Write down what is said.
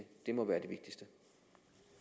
det må være